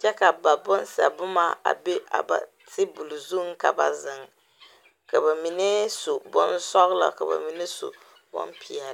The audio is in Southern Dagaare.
kyɛ ka ba bonsɛ boma a be a ba table zuŋ ka ba zeŋ ka ba mine su bonsɔglɔ ka ba mine su bonpeɛlle.